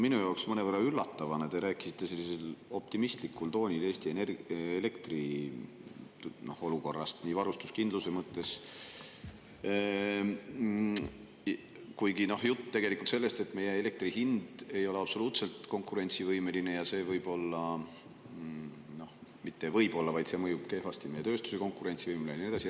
Minu jaoks mõnevõrra üllatavana rääkisite Eesti elektriolukorrast sellisel optimistlikul toonil, varustuskindluse mõttes, kuigi jutt on tegelikult sellest, et meie elektri hind ei ole absoluutselt konkurentsivõimeline, ja see mõjub kehvasti meie tööstuse konkurentsivõimele ja nii edasi.